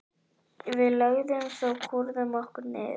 Við lögðumst og kúrðum okkur niður.